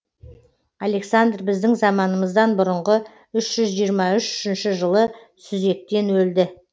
александр біздің заманымыздан бұрынғы үш жүз жиырма үшінші жылы сүзектен өлді